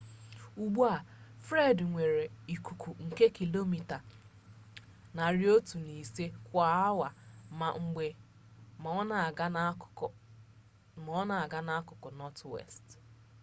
ugbu a fred nwere ikuku nke kilomita 105 kwa awa 165 km/h ma na-aga n'akụkụ nọtwest